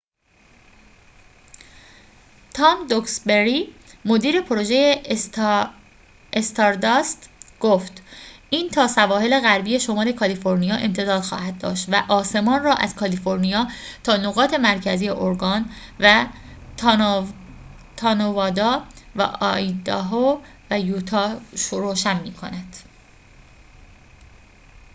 تام دوکسبری مدیر پروژه استارداست گفت این تا سواحل غربی شمال کالیفرنیا امتداد خواهد داشت و آسمان را از کالیفرنیا تا نقاط مرکزی اورگان و تا نوادا و آیداهو و یوتا روشن می کند